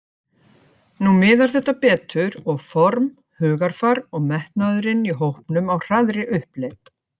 Nú miðar þetta betur og form, hugarfar og metnaðurinn í hópnum á hraðri uppleið.